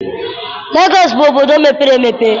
Legọọsị bụ obodo mepere emepe.